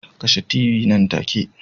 Kashe t.v nan take